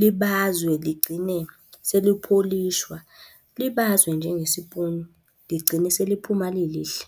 Libazwe ligcine selipholishwa. Libazwe njengesipuni, ligcine seliphuma lilihle.